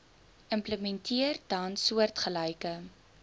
implementeer tans soortgelyke